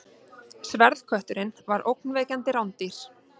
Sverðkötturinn var ógnvekjandi rándýr.